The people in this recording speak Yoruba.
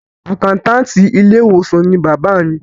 Àkáńtáàtì ilé ìwòsàn ni bàbá mi.